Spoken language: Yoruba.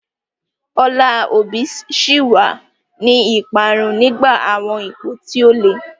Ọlá Obi ṣì wà ní ìparun nígbà àwọn ipò tí ó le.